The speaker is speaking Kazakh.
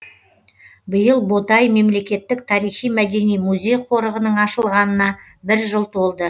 биыл ботай мемлекеттік тарихи мәдени музей қорығының ашылғанына бір жыл толды